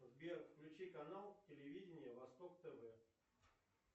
сбер включи канал телевидения восток тв